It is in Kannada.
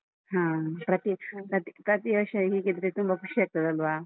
ಹಾ ಪ್ರತಿ ಪ್ರತಿ ವರ್ಷ ಹೀಗಿದ್ರೆ ತುಂಬಾ ಖುಷಿಯಾಗ್ತದಲ್ವಾ?